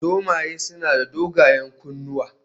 Zomaye suna da dogayen kunnuwa